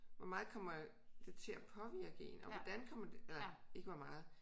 Hvor meget kommer det til at påvirke en og hvordan kommer det nej ikke hvor meget